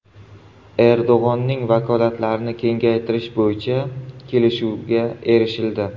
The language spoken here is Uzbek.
Erdo‘g‘onning vakolatlarini kengaytirish bo‘yicha kelishuvga erishildi.